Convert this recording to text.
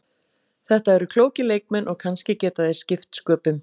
Þetta eru klókir leikmenn og kannski geta þeir skipt sköpum.